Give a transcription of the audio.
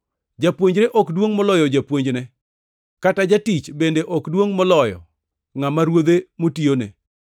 “Japuonjre ok duongʼ moloyo japuonjne, kata jatich bende ok duongʼ moloyo ngʼama ruodhe motiyone.